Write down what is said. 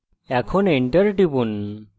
এখন enter টিপুন